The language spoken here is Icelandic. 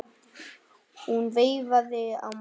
Hún veifaði á móti.